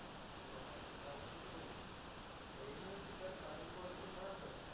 এই নয় কি তার কাজের quality খারাপ হয়েছে